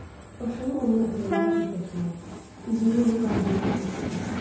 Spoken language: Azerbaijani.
Başımı onun ətəyində gizlətmək, üzümü onun qarnına sıxmaq istəyirəm.